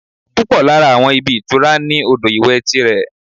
Púpọ̀ lára àwọn ibi ìtura ní odò ìwẹ̀ ti rẹ̀